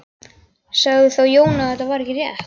Sagði þá Jón að þetta væri ekki rétt.